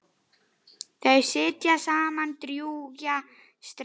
Þau sitja saman drjúga stund.